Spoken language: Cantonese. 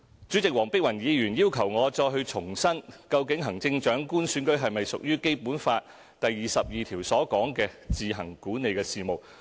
主席，黃碧雲議員要求我再重申，究竟行政長官選舉是否屬於《基本法》第二十二條所述的"自行管理的事務"。